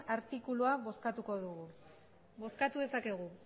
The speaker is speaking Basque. artikulua bozkatuko dugu bozkatu dezakegu